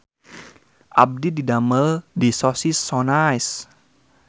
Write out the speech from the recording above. Abdi didamel di Sosis So Nice